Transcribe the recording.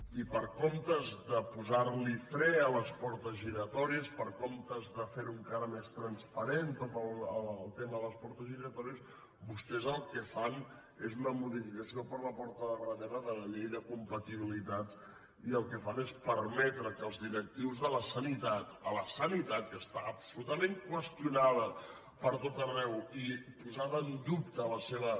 i en comptes de posar los fre a les portes giratòries en comptes de fer lo encara més transparent tot el tema de les portes giratòries vostès el que fan és una modificació per la porta de darrere de la llei d’incompatibilitats i el que fan és permetre que els directius de la sanitat a la sanitat que està absolutament qüestionada pertot arreu i posada en dubte la seva